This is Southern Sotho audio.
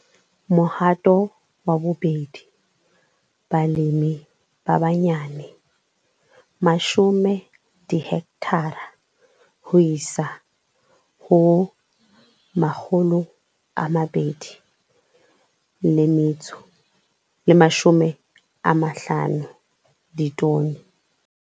Mohato wa 2 - Balemi ba banyane - 10 dihekthara ho isa ho 250 ditone.